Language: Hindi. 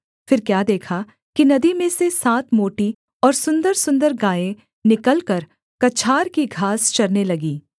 फिर क्या देखा कि नदी में से सात मोटी और सुन्दरसुन्दर गायें निकलकर कछार की घास चरने लगीं